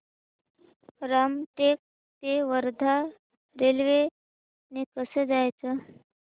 रामटेक ते वर्धा रेल्वे ने कसं जायचं